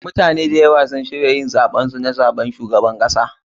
MUtane da ywa sun shirya yin zaben su na zaɓen shugabar kasa.